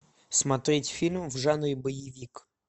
смотреть фильм в жанре боевик